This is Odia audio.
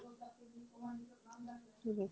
ଠିକ ଅଛି